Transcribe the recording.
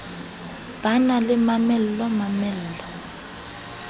ba na le mamello mamello